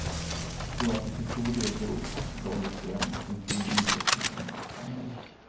Jag tror att det till stor del beror på att laget spelar en offensiv ishockey som passar mig.